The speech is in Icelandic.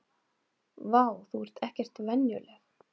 Vá, þú ert ekkert venjuleg!